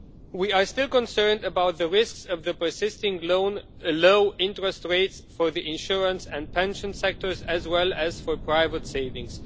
We are still concerned about the risks of the persisting low interest rates for the insurance and pension sectors as well as for private savings.